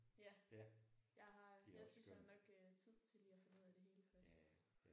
Ja. Jeg har jeg synes jeg har nok øh tid til lige at finde ud af det hele først